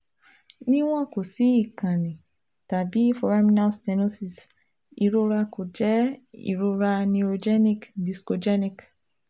Niwon ko si ikanni tabi foraminal stenosis, irora ko jẹ irora neurogenic / discogenic